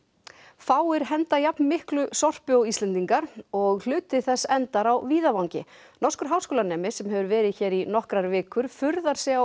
fáir henda jafn miklu sorpi og Íslendingar og hluti þess endar á víðavangi norskur háskólanemi sem hefur verið hér í nokkrar vikur furðar sig á